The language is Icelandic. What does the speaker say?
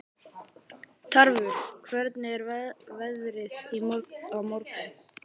Tarfur, hvernig er veðrið á morgun?